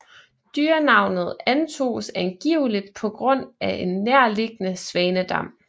Dyrenavnet antoges angiveligt på grund af en nærliggende svanedam